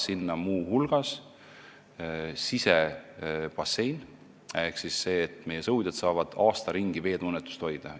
Sinna on muu hulgas plaanis rajada sisebassein, et meie sõudjad saaksid aasta ringi veetunnetust hoida.